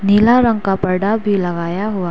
नीला रंग पर्दा भी लगाया हुआ --